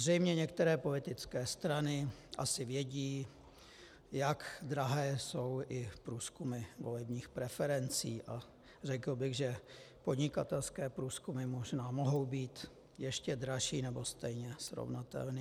Zřejmě některé politické strany asi vědí, jak drahé jsou i průzkumy volebních preferencí, a řekl bych, že podnikatelské průzkumy možná mohou být ještě dražší nebo stejné, srovnatelné.